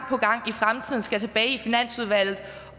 og skal tilbage i finansudvalget